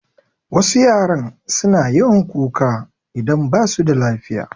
Wasu yaran suna yawan kuka idan basu da lafiya